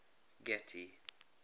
getty